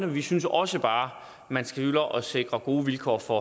vi synes også bare at man skylder at sikre gode vilkår for